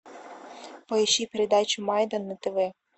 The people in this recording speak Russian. поищи передачу майдан на тв